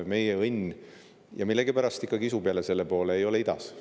Meie õnn – ja millegipärast kisub jutt jälle selle poole – ei ole idas.